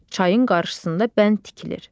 Çayın qarşısında bənd tikilir.